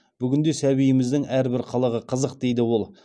бүгінде сәбиіміздің әрбір қылығы қызық дейді ол